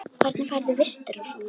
Hvernig færðu vistir og svona?